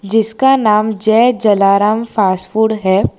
जिसका नाम Jay Jalaram fast food है।